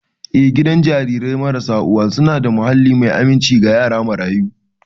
Eh, gidan jarirai marasa uwa suna da muhalli mai aminci ga yara marayu.